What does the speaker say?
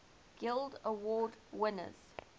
guild award winners